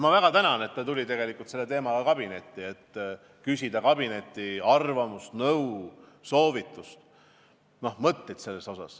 Ma väga tänan, et ta tuli selle teemaga kabinetti, et küsida kabineti arvamust, nõu, soovitust, mõtteid selle kohta.